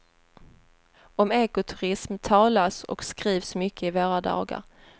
Om ekoturism talas och skrivs mycket i våra dagar.